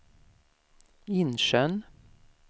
Insjön